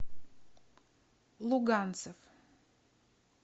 луганцев